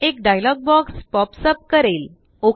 एक dialogue box pop up करेल